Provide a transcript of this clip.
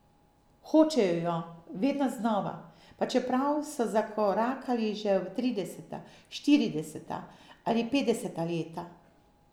Hočejo jo, vedno znova, pa čeprav so zakorakali že v trideseta, štirideseta ali petdeseta leta.